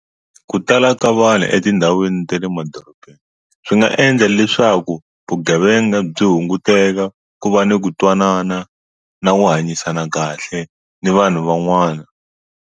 Ku tala ka vanhu etindhawini ta le madorobeni swi nga endla leswaku vugevenga byi hunguteka ku va ni ku twanana na ku hanyisana kahle ni vanhu van'wana.